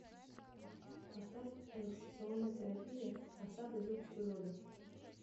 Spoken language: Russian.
поставь релаксационная терапия ансамбля звуков природы